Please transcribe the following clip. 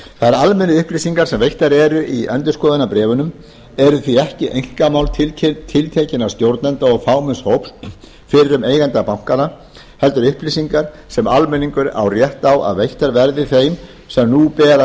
þær almennu upplýsingar sem veittar eru í endurskoðunarbréfunum eru því ekki einkamál tiltekinna stjórnenda og fámenns hóps fyrrum eigenda bankanna heldur upplýsingar sem almenningur á rétt á að veittar verði þeim sem nú bera